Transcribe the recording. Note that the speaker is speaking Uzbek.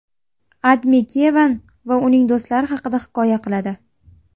AdMe Kevan va uning do‘stlari haqida hikoya qiladi .